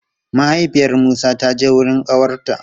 Mahaifiyar Musa ta je wurin ƙawarta.